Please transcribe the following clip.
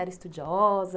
Era estudiosa?